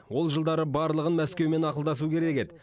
ол жылдары барлығын мәскеумен ақылдасу керек еді